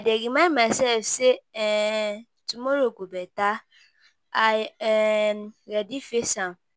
I dey remind myself say um tomorrow go better, I um ready face am.